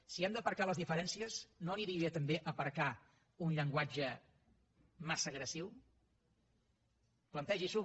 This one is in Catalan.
si hem d’aparcar les diferències no aniria bé també aparcar un llenguatge massa agressiu plantegi s’ho